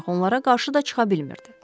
Ancaq onlara qarşı da çıxa bilmirdi.